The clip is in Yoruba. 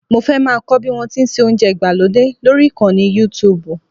Mo fẹ́ máa kọ́ bí wọ́n ti ń se oúnjẹ ìgbàlódé lórí ìkànnì Youtube